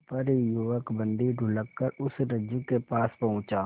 पर युवक बंदी ढुलककर उस रज्जु के पास पहुंचा